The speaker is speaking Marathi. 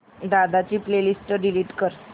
दादा ची प्ले लिस्ट डिलीट कर